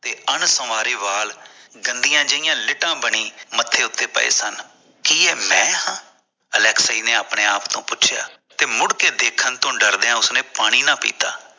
ਤੇ ਅੰਸਵਾਰੇ ਵਾਲ ਗੰਦੀ ਜਿਹਾ ਲਿਦਾ ਜਿਹੀ ਬਣੀ ਮੱਥੇ ਉੱਤੇ ਪਏ ਸਨ ਕਿ ਇਹ ਮੈਂ ਹਾਂ ਅਲੈਕਸੀ ਨੇ ਆਪਣੇ ਆਪ ਨੂੰ ਪੁੱਛਿਆ ਤੇ ਮੁੜਕੇ ਦੇਖਣ ਤੋਂ ਡਰਦਿਆਂ ਉਸਨੇ ਪਾਣੀ ਨਹੀਂ ਪੀਤਾ